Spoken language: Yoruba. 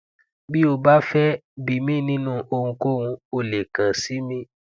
bí o bá fẹ bi mí nínú ohunkóhun o lè kan si mí